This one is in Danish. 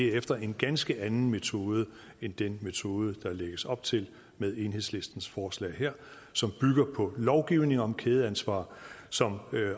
er efter en ganske anden metode end den metode der lægges op til med enhedslistens forslag her som bygger på lovgivning om kædeansvar som